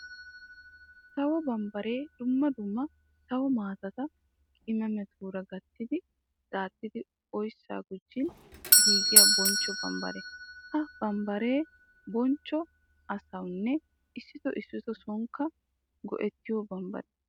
Sawo bambbare dumma dumma sawo maatatta qimamettura gattiddi daaxxiddi oyssa gujjin giigiya bonchcho bambbare. Ha bambbare bonchcho asawunne issitto issitto soonikka go'ettiyo bambbare.